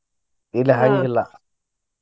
ಇಲ್ಲ ಹಂಗ್ ಇಲ್ಲಾ.